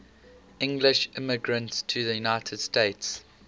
english immigrants to the united states